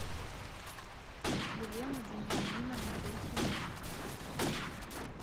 елену вениаминовну блохину